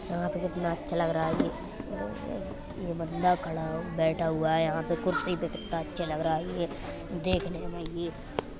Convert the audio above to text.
यहाँ पे कितना अच्छा लग रहा है। ये बंदा खडां हु बैठा हुआ है। यहाँ पे कुर्सी पे कितना अच्छा लग रहा है। ये देखने मे ही --